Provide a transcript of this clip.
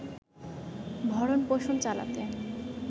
ভরণ-পোষণ চালাতে